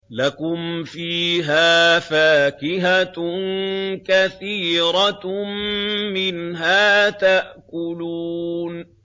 لَكُمْ فِيهَا فَاكِهَةٌ كَثِيرَةٌ مِّنْهَا تَأْكُلُونَ